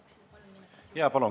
Jaa, palun!